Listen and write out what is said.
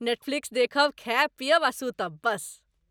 Netflix देखब, खायब पीयब आ सूतब, बस।